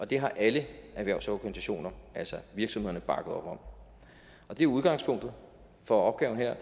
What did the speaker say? det har alle erhvervsorganisationer altså virksomhederne bakket op om og det er udgangspunktet for opgaven her